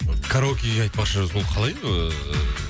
караокеге айтпақшы ол қалай ыыы